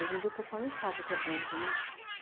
Hoje em dia o pessoal nem sabe o que é bonde, né?